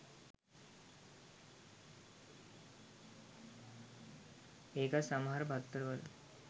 ඒකත් සමහර පත්තරවල